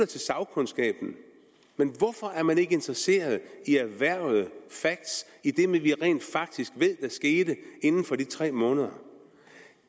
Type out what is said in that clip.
til sagkundskaben men hvorfor er man ikke interesseret i erhvervede facts i det vi jo rent faktisk ved der skete inden for de tre måneder